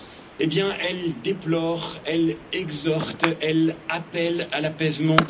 Eh bien, elle déplore, elle exhorte, elle appelle à l'apaisement.